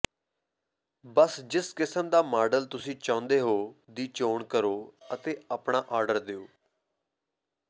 ਬੱਸ ਜਿਸ ਕਿਸਮ ਦਾ ਮਾਡਲ ਤੁਸੀਂ ਚਾਹੁੰਦੇ ਹੋ ਦੀ ਚੋਣ ਕਰੋ ਅਤੇ ਆਪਣਾ ਆਰਡਰ ਦਿਓ